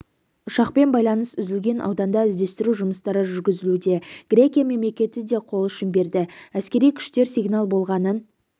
ұшақпен байланыс үзілген ауданда іздестіру жұмыстары жүргізілуде грекия мемлекеті де қолұшын берді әскери күштер сигнал болғанын